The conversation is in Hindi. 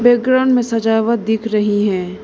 बैकग्राउंड में सजावट दिख रही है।